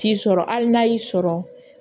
T'i sɔrɔ hali n'a y'i sɔrɔ